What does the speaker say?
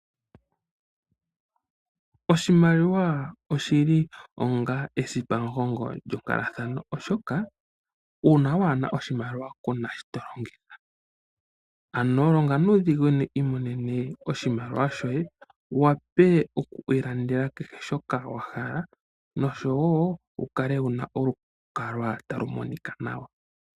Oshimaliwa oshili esipamugongo lyonkalathano , oshoka uuna waana oshimaliwa kuna shi tolongitha. Ano longa nuudhiginini wu wape okulanda kehe shoka wahala oshowoo wukale nolukalwa talu monika nawa.